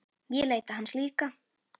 Ég leita hans líka.